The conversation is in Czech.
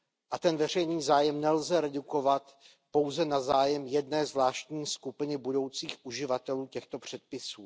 A ten veřejný zájem nelze redukovat pouze na zájem jedné zvláštní skupiny budoucích uživatelů těchto předpisů.